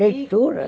Leituras?